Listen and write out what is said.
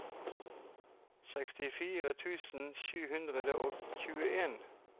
sekstifire tusen sju hundre og tjueen